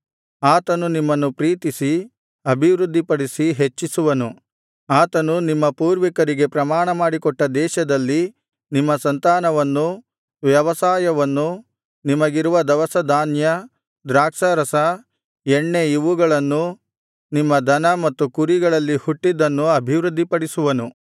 ಆತನು ನಿಮ್ಮನ್ನು ಪ್ರೀತಿಸಿ ಅಭಿವೃದ್ಧಿಪಡಿಸಿ ಹೆಚ್ಚಿಸುವನು ಆತನು ನಿಮ್ಮ ಪೂರ್ವಿಕರಿಗೆ ಪ್ರಮಾಣಮಾಡಿಕೊಟ್ಟ ದೇಶದಲ್ಲಿ ನಿಮ್ಮ ಸಂತಾನವನ್ನೂ ವ್ಯವಸಾಯವನ್ನೂ ನಿಮಗಿರುವ ದವಸ ಧಾನ್ಯ ದ್ರಾಕ್ಷಾರಸ ಎಣ್ಣೆ ಇವುಗಳನ್ನೂ ನಿಮ್ಮ ದನ ಮತ್ತು ಕುರಿಗಳಲ್ಲಿ ಹುಟ್ಟಿದ್ದನ್ನೂ ಅಭಿವೃದ್ಧಿಪಡಿಸುವನು